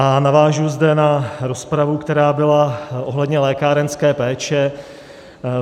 A navážu zde na rozpravu, která byla ohledně lékárenské péče.